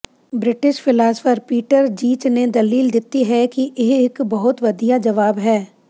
British philosopher Peter Geach ਨੇ ਦਲੀਲ ਦਿੱਤੀ ਹੈ ਕਿ ਇਹ ਇੱਕ ਬਹੁਤ ਵਧੀਆ ਜਵਾਬ ਹੈ